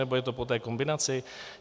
Nebo je to po té kombinaci?